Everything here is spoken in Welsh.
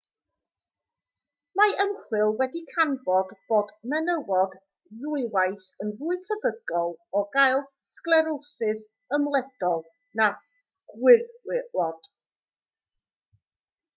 mae ymchwil wedi canfod bod menywod ddwywaith yn fwy tebygol o gael sglerosis ymledol na gwrywod